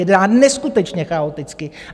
Jedná neskutečně chaoticky.